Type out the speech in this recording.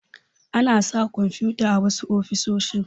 Ana sa kwamfuta a wasu ofisoshi.